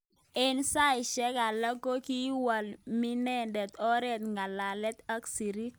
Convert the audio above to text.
Eng saishek alak kokiwalminendet oret ngalalet ak sirik.